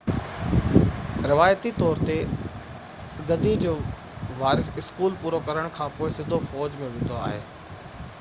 روايتي طور تي گدي جو وارث اسڪول پورو ڪرڻ کانپوءِ سڌو فوج ۾ ويندو هو